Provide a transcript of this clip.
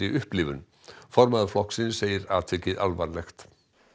upplifun formaður flokksins segir atvikið alvarlegt